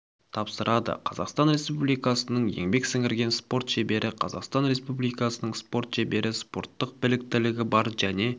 тапсырады қазақстан республикасының еңбек сіңірген спорт шебері қазақстан республикасының спорт шебері спорттық біліктілігі бар және